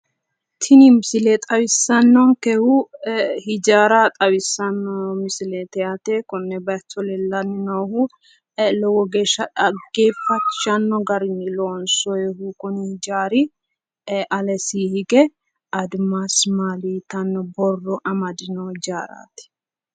Tini misile xawissannokehu hiijara xawissanno misileati yaate konne bayicho leellanni noohu lowo geeshsha xaggefachishano garini loonsonihu kuni hiijari alee hige adimasi maali yitanno borro amadinoho.